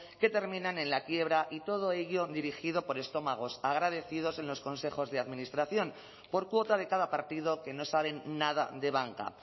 que terminan en la quiebra y todo ello dirigido por estómagos agradecidos en los consejos de administración por cuota de cada partido que no saben nada de banca